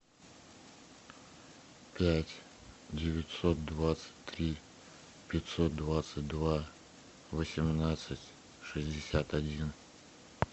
пять девятьсот двадцать три пятьсот двадцать два восемнадцать шестьдесят один